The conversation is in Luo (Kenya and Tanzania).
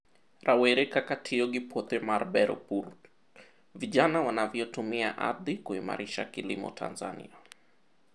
Rawre kaka tiyo gi puothe mar bero pur. Vijana wanavyotumia ardhi kuimarisha kilimo Tanzania